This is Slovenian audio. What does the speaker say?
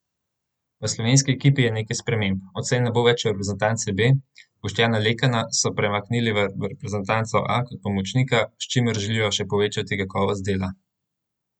V slovenski ekipi je nekaj sprememb, odslej ne bo več reprezentance B, Boštjana Lekana so premaknili v reprezentanco A kot pomočnika, s čimer želijo še povečati kakovost dela.